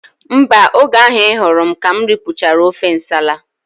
Mba, oge ahụ I hụrụ m ka m ripụchara ofe nsala